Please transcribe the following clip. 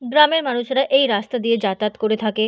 গ্রামের মানুষেরা এই রাস্তা দিয়ে যাতায়াত করে থাকে ।